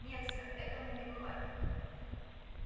нет сэр этому не бывать